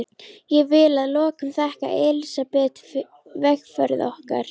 Ég vil að lokum þakka Elsabetu vegferð okkar.